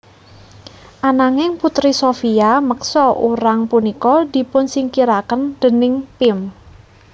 Ananging Putri Sophia meksa urang punika dipunsingkiraken déning Pim